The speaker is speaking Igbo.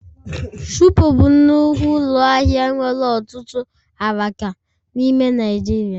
Shupo bụ nnukwu ụlọ ahịa nwere ọtụtụ alaka n'ime Naijiria